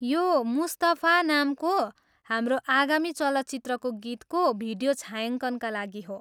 यो 'मुस्तफा' नामको हाम्रो आगामी चलचित्रको गीतको भिडियो छायाङ्कनका लागि हो।